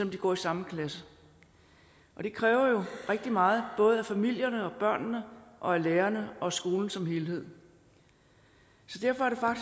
de går i samme klasse det kræver jo rigtig meget både af familierne og af børnene og af lærerne og af skolen som helhed derfor er